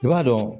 I b'a dɔn